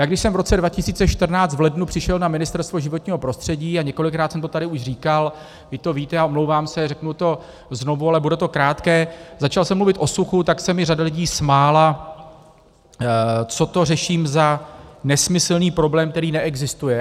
Já když jsem v roce 2014 v lednu přišel na Ministerstvo životního prostředí, a několikrát jsem to tady už říkal, vy to víte a omlouvám se, řeknu to znovu, ale bude to krátké, začal jsem mluvit o suchu, tak se mi řada lidí smála, co to řeším za nesmyslný problém, který neexistuje.